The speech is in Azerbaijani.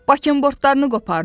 Baqimbortlarını qopardın.